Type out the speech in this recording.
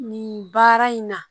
Nin baara in na